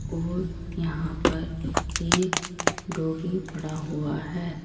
और यहां पर एक डॉगी पड़ा हुआ है।